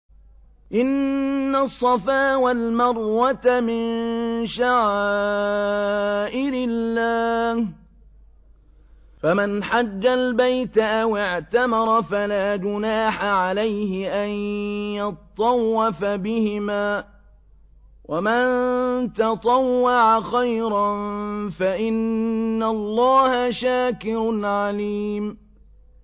۞ إِنَّ الصَّفَا وَالْمَرْوَةَ مِن شَعَائِرِ اللَّهِ ۖ فَمَنْ حَجَّ الْبَيْتَ أَوِ اعْتَمَرَ فَلَا جُنَاحَ عَلَيْهِ أَن يَطَّوَّفَ بِهِمَا ۚ وَمَن تَطَوَّعَ خَيْرًا فَإِنَّ اللَّهَ شَاكِرٌ عَلِيمٌ